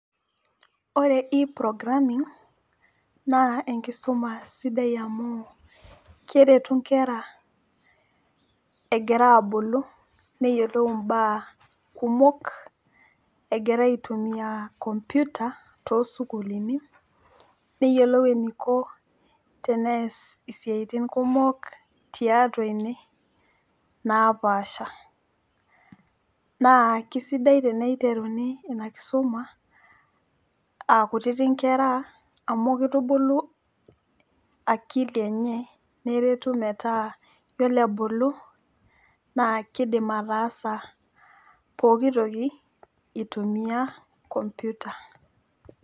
Ore e programming na enkisuma sidai amu kerertu nkera egira abulu neyiolou mbaa kumok egira aitumia komputa tosukulini neyiolou eniko teneas siatini kumok tiatua ene napaasha na kesidai teniteruni ina kisuma aa kuti nkera anu kitubulu akili yiolo ebulu na kidim ataasa pookitoki itumua kompyuta